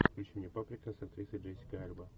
включи мне паприка с актрисой джессика альба